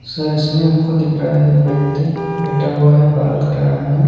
Sir इसमें हमको दिख रहा है एक व्यक्ति बैठा हुआ है बाल कटा रहा है।